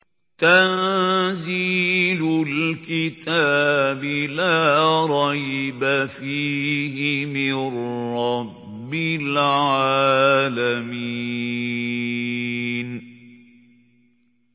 تَنزِيلُ الْكِتَابِ لَا رَيْبَ فِيهِ مِن رَّبِّ الْعَالَمِينَ